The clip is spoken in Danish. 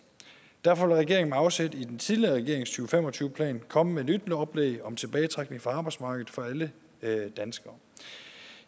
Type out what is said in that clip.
derfor vil regeringen med afsæt i den tidligere regerings to fem og tyve plan komme med et nyt oplæg om tilbagetrækning fra arbejdsmarkedet for alle danskere